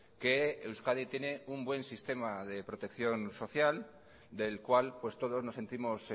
que euskadi tiene un buen sistema de protección social del cual pues todos nos sentimos